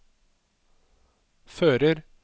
fører